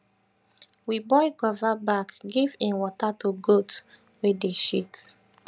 we boil guava back give im water to goat wey dey shit